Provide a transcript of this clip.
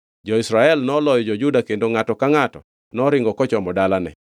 Jo-Israel noloyo jo-Juda kendo ngʼato ka ngʼato noringo kochomo dalane.